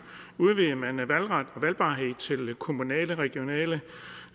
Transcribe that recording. udvidede man valgret og valgbarhed til kommunale og regionale